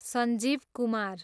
Sanjeev Kumar